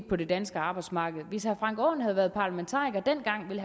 på det danske arbejdsmarked hvis herre frank aaen havde været parlamentariker dengang ville